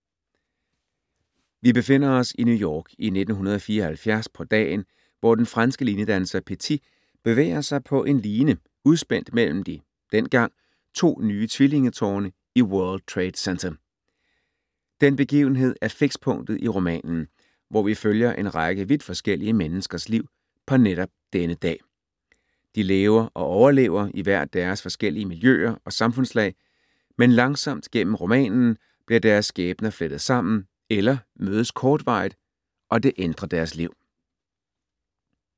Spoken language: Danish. Vi befinder os i New York i 1974 på dagen, hvor den franske linedanser Petit bevæger sig på en line udspændt mellem de dengang to nye tvillingetårne i World Trade Center. Den begivenhed er fikspunktet i romanen, hvor vi følger en række vidt forskellige menneskers liv på netop denne dag. De lever og overlever i hver deres forskellige miljøer og samfundslag, men langsomt gennem romanen bliver deres skæbner flettet sammen eller mødes kortvarigt og det ændrer deres liv.